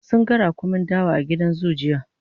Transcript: sun ga raƙumin dawa a gidan zoo jiya